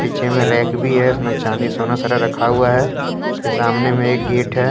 पीछे में रैक भी है इसमें चांदी सोना सारे रखा हुआ है उसके सामने में एक गेट है।